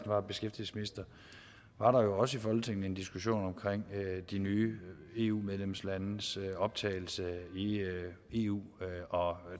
var beskæftigelsesminister var der jo også i folketinget en diskussion om de nye eu medlemslandes optagelse i eu og